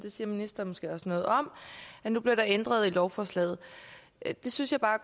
siger ministeren måske også noget om at der bliver ændret i lovforslaget det synes jeg bare